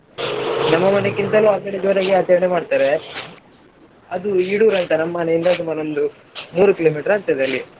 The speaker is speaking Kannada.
ನಮ್ಮ ಮನೆಕೀಂತಲೂ ಆಕಡೆ ಜೋರಾಗಿ ಆಚರಣೆ ಮಾಡ್ತಾರೇ ಅದು Eedoor ಆಯ್ತಾ ನಮ್ ಮನೆಯಿಂದ ಸುಮಾರು ಮೂರು kilo meter ಆಗ್ತದೇ ಅಲ್ಲಿಗೆ.